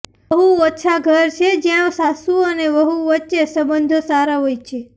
બહુ ઓછા ઘર છે જ્યાં સાસુ અને વહુ વચ્ચે સંબંધો સારા હોય છે